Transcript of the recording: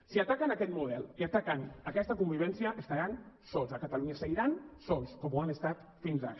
si ataquen aquest model i ataquen aquesta convivència estaran sols a catalunya seguiran sols com ho ha estat fins ara